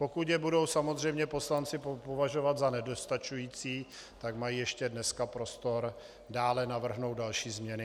Pokud je budou samozřejmě poslanci považovat za nedostačující, tak mají ještě dneska prostor dále navrhnout další změny.